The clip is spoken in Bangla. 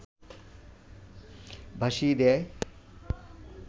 ভাসিয়ে দেয়